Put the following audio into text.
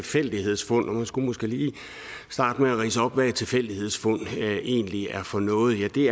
tilfældighedsfund og man skulle måske lige starte med at ridse op hvad et tilfældighedsfund egentlig er for noget ja det